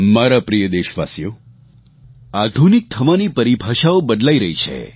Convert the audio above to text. મારા પ્રિય દેશવાસી આધુનિક થવાની પરિભાષાઓ બદલાઈ રહી છે